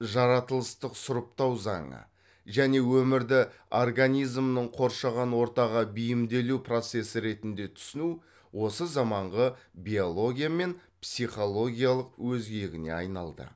жаратылыстық сұрыптау заңы және өмірді организмнің қоршаған ортаға бейімделу процесі ретінде түсіну осы заманғы биология мен психологияның өзегіне айналды